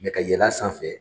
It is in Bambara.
Mɛ ka yɛl'a sanfɛ